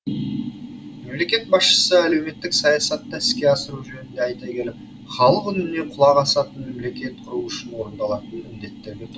мемлекет басшысы әлеуметтік саясатты іске асыру жөнінде айта келіп халық үніне құлақ асатын мемлекет құру үшін орындалатын міндеттерге тоқ